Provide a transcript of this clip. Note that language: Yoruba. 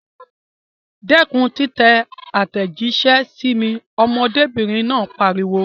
Dẹ́kun títẹ àtẹ̀jíṣẹ́ sí mi! Ọmọdébìnrin náà pariwo.